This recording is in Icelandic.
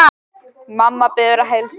Mamma biður að heilsa.